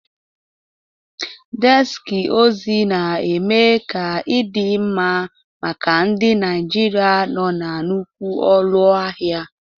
Deski ozi na-eme ka ịdị mma maka ndị Naijiria nọ na nnukwu ụlọ ahịa.